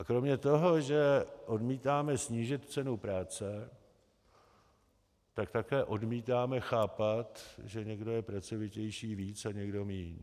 A kromě toho, že odmítáme snížit cenu práce, tak také odmítáme chápat, že někdo je pracovitější víc a někdo míň.